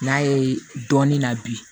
N'a ye dɔɔnin na bi